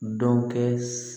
Dɔn kɛ